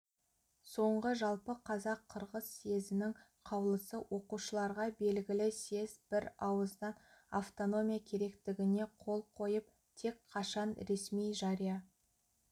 соңғы жалпы қазақ-қырғыз съезінің қаулысы оқушыларға белгілі съезд бір ауыздан автономия керектігіне қол қойып тек қашан ресми жария